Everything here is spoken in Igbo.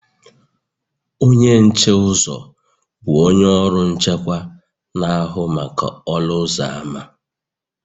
Onye nche uzo, bụ onye ọrụ nchekwa, na-ahụ maka ọnụ ụzọ ámá